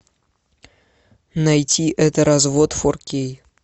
найти это развод фор кей